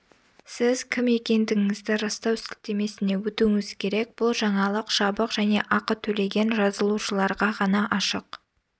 сіз кім екендігіңізді растау сілтемесіне өтуіңіз керек бұл жаңалық жабық және ақы төлеген жазылушыларға ғана ашық